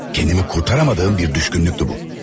Kendimi kurtaramadığım bir düşkünlüktü bu.